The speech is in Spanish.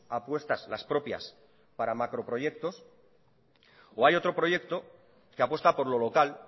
apuestas las propias para macroproyectos o hay otro proyecto que apuesta por lo local